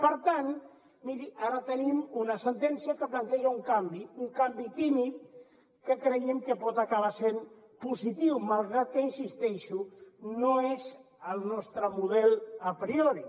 per tant miri ara tenim una sentència que planteja un canvi un canvi tímid que creiem que pot acabar sent positiu malgrat que hi insisteixo no és el nostre model a priori